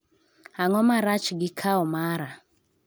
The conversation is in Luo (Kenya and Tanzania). Ang'o ma rach gi kao mara